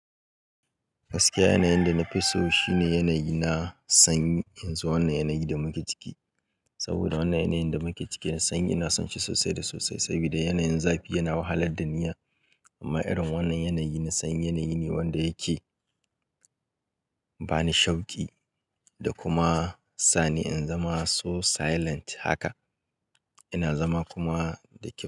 Gaskiya yanayin da na fi so shine yanayi na sanyi in zo wannan yanayi da muke ciki. Saboda wannan yanayin da muke ciki na sanyi ina son shi sosai da sosai sabida yanayin zafi yana wahalad da ni. Amma irin wannan yanayi na sanyi yanayi ne wanda yake ba ni shauƙi da kuma sa ni in zama so silent haka. Ina zama kuma da kyau.